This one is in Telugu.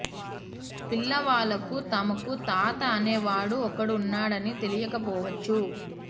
పిల్లవాళ్లకు తమకు తాత అనే వాడు ఒకడు ఉన్నాడని తెలియక పోవచ్చు